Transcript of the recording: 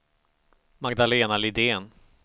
Magdalena Lidén